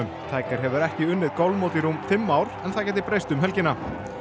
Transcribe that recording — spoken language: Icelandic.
tiger hefur ekki unnið golfmót í rúm fimm ár en það gæti breyst um helgina